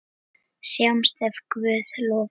Sjáumst ef Guð lofar.